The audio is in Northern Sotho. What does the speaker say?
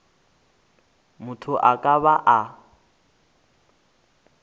motho a ka ba a